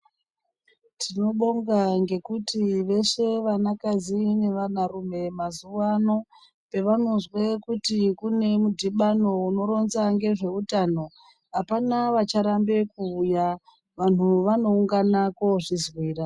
Tinobonga ngekuti veshe vanakadzi nevanarume pavanozwe kuti kune mudhibano unoronza ngezveutano apana vacharambe kuuya vantu vanoungana koozvizwira.